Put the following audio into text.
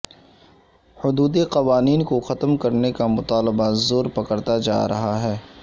حدود قوانین کو ختم کرنے کا مطالبہ زور پکڑتا جا رہا ہے